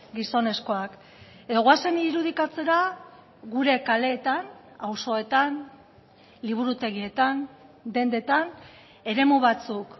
gizonezkoak edo goazen irudikatzera gure kaleetan auzoetan liburutegietan dendetan eremu batzuk